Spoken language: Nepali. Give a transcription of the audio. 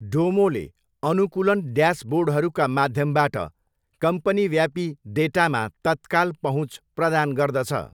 डोमोले अनुकूलन ड्यासबोर्डहरूका माध्यमबाट कम्पनीव्यापी डेटामा तत्काल पहुँच प्रदान गर्दछ।